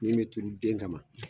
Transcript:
Min bɛ turu den kama